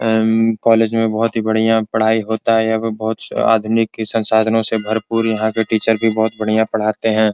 M college में बहुत ही बढ़िया पढ़ाई होता है यहाँ बहुत से आधुनिक के संसाधनों से भर-पूर यहाँ के टीचर भी बहुत बढ़िया पढ़ाते हैं।